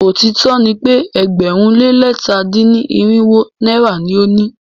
Òótó ni pe ẹgbẹ̀rún lé lẹ̀ta dín ní irinwó náírà ni o ni.